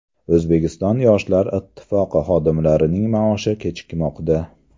O‘zbekiston Yoshlar Ittifoqi xodimlarining maoshi kechikmoqda.